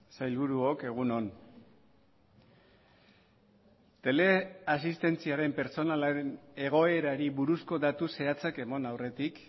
sailburuok egun on teleasistentziaren pertsonalaren egoerari buruzko datu zehatzak eman aurretik